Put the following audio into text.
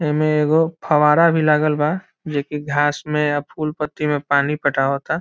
इमें एगो फव्वारा भी लागल बा जे की घास में अ फूल पत्ती में पानी पटावता।